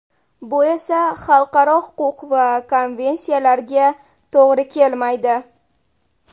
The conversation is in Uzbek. Bu esa xalqaro huquq va konvensiyalarga to‘g‘ri kelmaydi.